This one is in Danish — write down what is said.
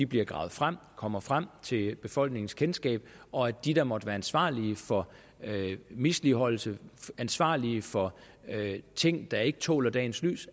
bliver gravet frem kommer frem til befolkningens kendskab og at de der måtte være ansvarlige for misligholdelse ansvarlige for ting der ikke tåler dagens lys